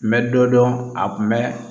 N bɛ dɔ dɔn a kun bɛ